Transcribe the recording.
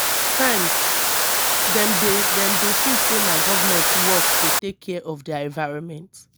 sometimes dem dey dem dey feel sey na government work to take care of their environment